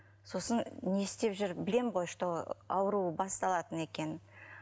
сосын не істеп жүр білемін ғой что ауруы басталатын екенін